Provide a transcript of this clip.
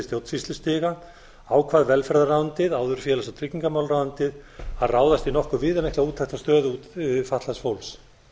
stjórnsýslustiga ákvað velferðarráðuneytið áður félags og tryggingamálaráðuneytið að ráðast í nokkuð viðamikla úttekt á stöðu fatlaðs fólks